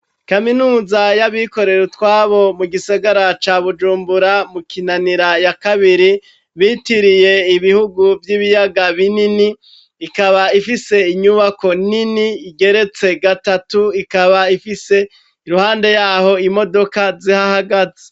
Kaminuza y'abikorera utwabo mu gisagara ca Bujumbura mu Kinanira ya kabiri bitiriye ibihugu vy'ibiyaga binini ikaba ifise inyubako nini igeretse gatatu ikaba ifise iruhande yaho imodoka zihahagaze.